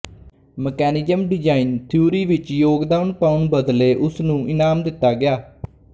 mechanism design theory ਵਿੱਚ ਯੋਗਦਾਨ ਪਾਉਣ ਬਦਲੇ ਉਸਨੂੰ ਇਨਾਮ ਦਿੱਤਾ ਗਿਆ